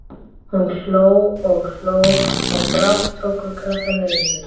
Hún hló og hló og brátt tóku krakkarnir undir.